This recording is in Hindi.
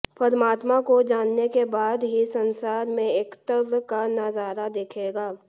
परमात्मा को जानने के बाद ही संसार में एकत्व का नजारा दिखेगा